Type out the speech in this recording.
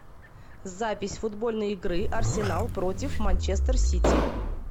запись футбольной игры арсенал против манчестер сити